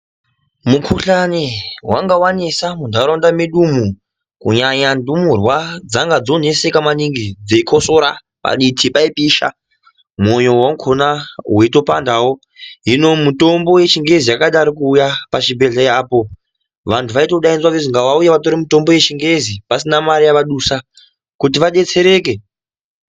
Mukuhlani vanga vanesa muntaraunda medumu kunyanya ndumurwa dzanga dzanyanya kuneseka maningi dzeikosora paditi paipisha moyo vakona veitopandavo. Hino mitombo yechingezi yakadaroko kuuya pachibhedhleya apo vantu vaitodaidzwa venzizi ngavauye vatore mutombo vechingezi pasina mari yavadusa kuti vabetsereke.